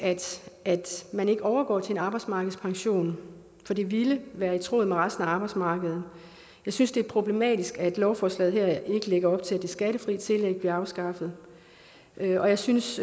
at man ikke overgår til en arbejdsmarkedspension for det ville være i tråd med resten af arbejdsmarkedet jeg synes det er problematisk at lovforslaget her ikke lægger op til at det skattefri tillæg bliver afskaffet og jeg synes